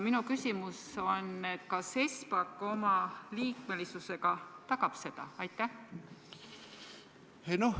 Minu küsimus on järgmine: kas Espak oma liikmesusega tagab seda?